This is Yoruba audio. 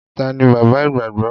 Ta ni bàbá ìgbàgbọ́?